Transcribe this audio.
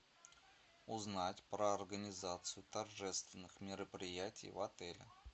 узнать про организацию торжественных мероприятий в отеле